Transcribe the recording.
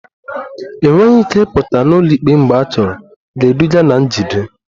Enweghị ike ịpụta n'ụlọikpe mgbe achọrọ ga-eduga na njide